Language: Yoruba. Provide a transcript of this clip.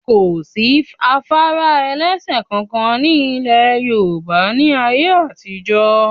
Kò sí afárá ẹlẹ́sẹ̀ kankan ní ilẹ̀ Yorùbá ní a yé àtijọ́